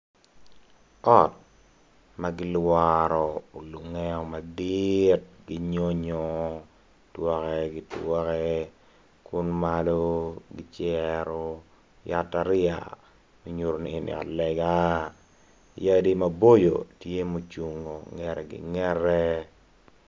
Ot ma olengeo ma kigero ki nyonyo twake ki twake kun malo kicero cata riya nyuto ni eni ot lega yadi maboco tye ocung i langete.